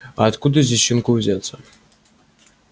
а откуда здесь щенку взяться